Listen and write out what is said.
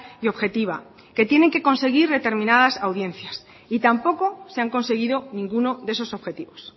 y objetiva que tienen que conseguir determinadas audiencias y tampoco se han conseguido ninguno de esos objetivos